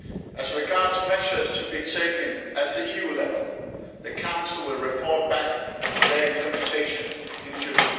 As regards measures to be taken at EU level, the Council will report back on the implementation in June.